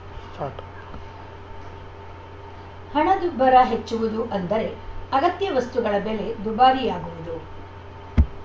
start ಹಣದುಬ್ಬರ ಹೆಚ್ಚುವುದು ಅಂದರೆ ಅಗತ್ಯ ವಸ್ತುಗಳ ಬೆಲೆ ದುಬಾರಿಯಾಗುವುದು